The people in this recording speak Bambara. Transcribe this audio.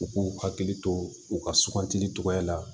U k'u hakili to u ka sugantili cogoya la